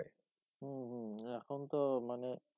হুম হুম এখন তো মানে